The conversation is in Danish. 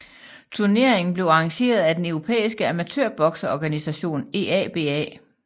Turneringen blev arrangeret af den europæiske amatørbokseorganisation EABA